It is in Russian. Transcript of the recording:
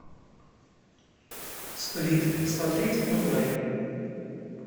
сплит смотреть онлайн